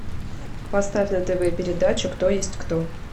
поставь на тв передачу кто есть кто